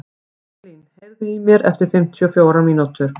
Ingilín, heyrðu í mér eftir fimmtíu og fjórar mínútur.